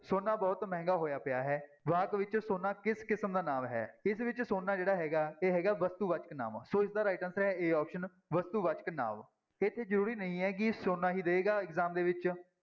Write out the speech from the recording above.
ਸੋਨਾ ਬਹੁਤ ਮਹਿੰਗਾ ਹੋਇਆ ਪਿਆ ਹੈ, ਵਾਕ ਵਿੱਚ ਸੋਨਾ ਕਿਸ ਕਿਸਮ ਦਾ ਨਾਂਵ ਹੈ, ਇਸ ਵਿੱਚ ਸੋਨਾ ਜਿਹੜਾ ਹੈਗਾ, ਇਹ ਹੈਗਾ ਵਸਤੂਵਾਚਕ ਨਾਂਵ, ਸੋ ਇਸਦਾ right answer ਹੈ a option ਵਸਤੂਵਾਚਕ ਨਾਂਵ, ਇੱਥੇ ਜ਼ਰੂਰੀ ਨਹੀਂ ਹੈ ਕਿ ਸੋਨਾ ਹੀ ਰਹੇਗਾ exam ਦੇ ਵਿੱਚ।